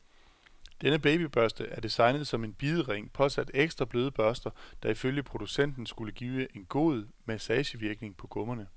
Denne babybørste er designet som en bidering påsat ekstra bløde børster, der ifølge producenten, skulle give en god massagevirkning på gummerne.